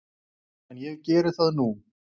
En ég geri það nú!